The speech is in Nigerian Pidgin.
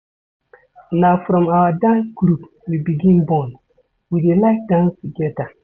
Na from our dance group we begin bond, we dey like dance togeda.